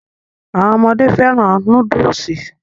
Àwọn ọmọdé fẹ́ràn núdùsì